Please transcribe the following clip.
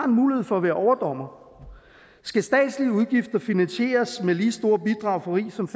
mulighed for at være overdommere skal statslige udgifter finansieres med lige store bidrag for rig som